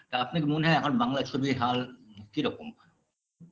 তা আপনার মনে এখন বাংলা ছবির হাল কিরকম